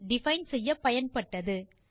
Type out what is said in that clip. define செய்ய பயன்பட்டது